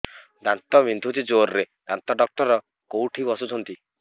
ଦାନ୍ତ ବିନ୍ଧୁଛି ଜୋରରେ ଦାନ୍ତ ଡକ୍ଟର କୋଉଠି ବସୁଛନ୍ତି